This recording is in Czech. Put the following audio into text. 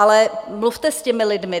Ale mluvte s těmi lidmi.